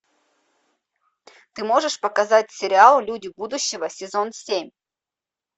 ты можешь показать сериал люди будущего сезон семь